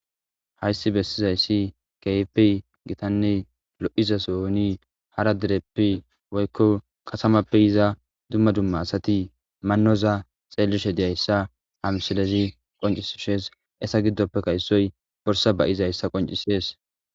Hayssi bessizayssi keypi gitanne lo'iza sooni hara dereppi woykko qasamappe iza dumma dumma asati mannoza xeellishe deyayssa hamsilezi qoncisishees esa giddoppe kayssoy borsa ba'izayssa qoncisees.